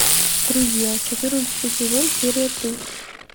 друзья четырнадцатый сезон серия три